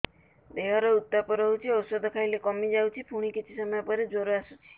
ଦେହର ଉତ୍ତାପ ରହୁଛି ଔଷଧ ଖାଇଲେ କମିଯାଉଛି ପୁଣି କିଛି ସମୟ ପରେ ଜ୍ୱର ଆସୁଛି